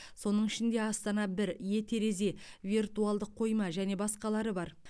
соның ішінде астана бір е терезе виртуалдық қойма және басқалары бар